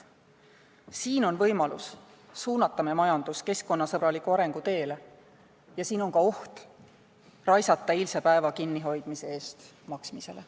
Siin on võimalus suunata meie majandus keskkonnasõbraliku arengu teele ja siin on ka oht raisata eilse päeva kinnihoidmise eest maksmisele.